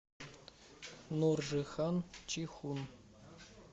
нуржихан чихун